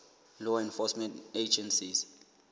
law enforcement agencies